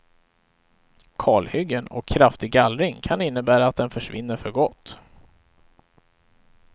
Kalhyggen och kraftig gallring kan innebära att den försvinner för gott.